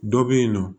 Dɔ bɛ yen nɔ